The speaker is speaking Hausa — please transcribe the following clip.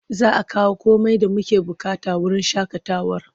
Za a kawo komai da muke buƙata wurin shaƙatawar.